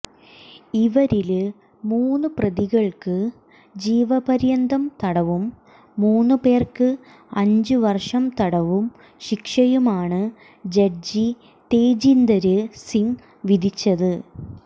ഇവരില് മൂന്ന് പ്രതികള്ക്ക് ജീവപര്യന്തം തടവും മൂന്ന് പേര്ക്ക് അഞ്ചു വര്ഷം തടവു ശിക്ഷയുമാണ് ജഡ്ജി തേജീന്ദര് സിങ് വിധിച്ചത്